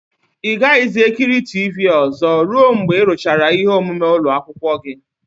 Ị gaghịzi ekiri tivii ozo ruo mgbe ị rụchara ihe omume ụlọ akwụkwọ gị.